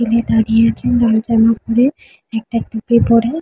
দাঁড়িয়ে আছে লাল জামা পরে একটা টুপি পরে-এ--